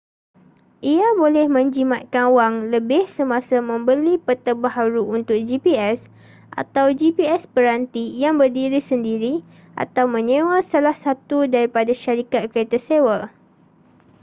ia boleh menjimatkan wang lebih semasa membeli peta baharu untuk gps atau gps peranti yang berdiri sendiri atau menyewa salah satu daripada syarikat kereta sewa